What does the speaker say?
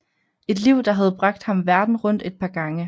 Et liv der havde bragt ham verden rundt et par gange